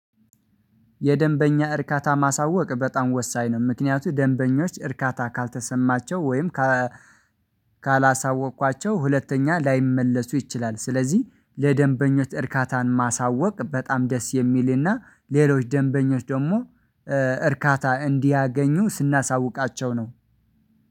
የደንበኛ እርካታ ማሳወቅ በጣም ወሳኝ ነው ምክንያቱም ደንበኞች እርካታ ካልተሰማቸው ወይም ካላሳወቅኳቸው ሁለተኛ ላይመለሱ ይችላል። ስለዚህ ለደንበኞች እርካታን ማሳወቅ በጣም ደስ የሚልና ሌሎች ደንበኞች ደግሞ እርካታ እንዲያገኙ ስናሳውቃቸው ነው።